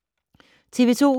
TV 2